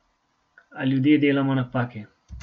A ljudje delamo napake.